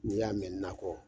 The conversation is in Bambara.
N'i y'a mɛn nakɔ